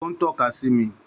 Ó ń tọ́ka sí mi